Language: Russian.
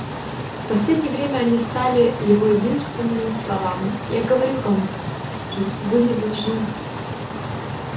в последнее время они стали его единственными словами я говорю вам стив вы не должны